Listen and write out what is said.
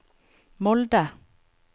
Molde